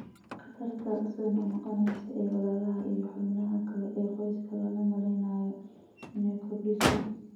Khatarta soo noqnoqonaysa ee walaalaha iyo xubnaha kale ee qoyska looma malaynayo inay kordhiso.